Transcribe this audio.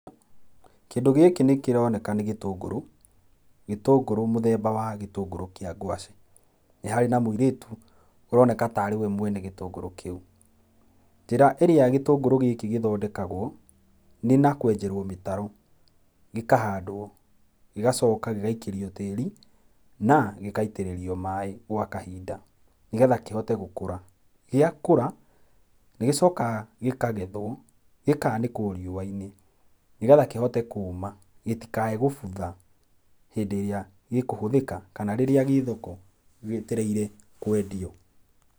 Kĩndũ gĩkĩ nĩkĩroneka nĩ gĩtũngũrũ, gĩtũngũrũ mũthemba wa gĩtũngũrũ kĩa ngwacĩ. Nĩ harĩ na mũirĩtu ũroneka tarĩwe mwene gĩtũngũrũ kĩu. Njĩra ĩrĩa gĩtũngũrũ gĩkĩ gĩthondekagwo nĩ na kwenjerwo mĩtaro, gĩkahandwo, gĩgacoka gĩgaikĩrio tĩĩri na gĩgaitĩrĩrio maĩĩ gwa kahinda nĩgetha kĩhote gũkũra. Gĩakũra, nigĩcokaga gĩkagethwo, gĩkaanĩkwo riũa-inĩ nĩgetha kĩhote kũma gĩtikae gũbutha hĩndĩ ĩrĩa gĩkũhũthĩka kana rĩrĩa gĩ thoko gĩetereire kwendio.